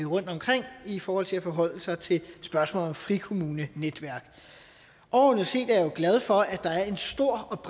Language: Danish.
rundtomkring i forhold til at forholde sig til spørgsmålet om frikommunenetværk overordnet set er jeg jo glad for at der er en stor